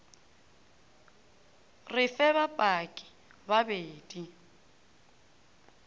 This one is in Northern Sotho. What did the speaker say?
re fe bapaki ba bedi